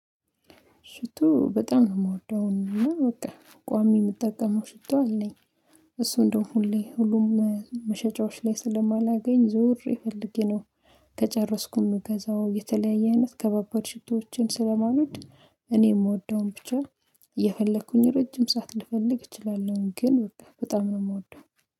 ሽቶ በጣም ነው የምወደው እና በቃ ቋሚ የምጠቀመው ሽቶ አለኝ እሱ እንደው ሁሌ ሁሉም መሸጫዎች ላይ ስለማላገኝ ዞሬ ፈለጌ ነው። ከጨረስኩም ገዛው የተለያየ አይነት ከባባድ ሽቶዎችን ስለማውድ እኔ የምወደውን ብቻ የፈለኩኝ ረጅም ሰዓት ልፈልግ እችላለሁ ግን በጣም ነው የምወደው